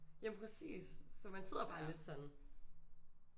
Jamen præcis så man sidder bare lidt sådan